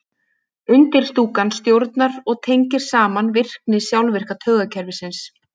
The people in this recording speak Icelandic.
Undirstúkan stjórnar og tengir saman virkni sjálfvirka taugakerfisins.